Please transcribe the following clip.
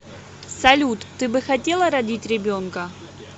салют ты бы хотела родить ребенка